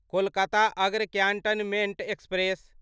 कोलकाता अग्र cantonment express